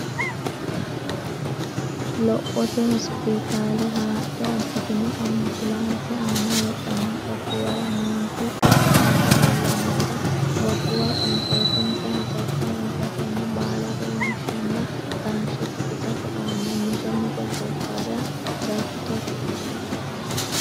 Lophote Hospitaale haadhe abbitino ambulaanse aana heedhanno gobbuwara miinju dhuki aje leellannohura gobbuwa qansootinsa hasatto wonshatenna baalare wonshenna taashshe tuqisate aana mite mite gobbara gatto.